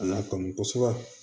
A n'a kanu kosɛbɛ